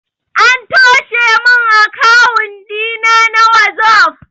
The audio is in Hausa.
An toshe min akawun ɗina na wazof